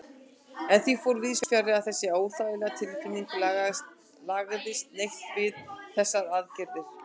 En því fór víðsfjarri að þessi óþægilega tilfinning lagaðist neitt við þessar aðgerðir.